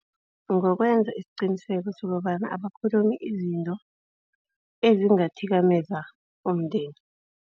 Ngokwenza isiqiniseko sokobana abakhulumi izinto ezingathikameza umndeni.